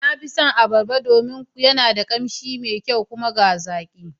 Na fi son Abarba domin yana da ƙanshi me kyau. kuma ga zaƙi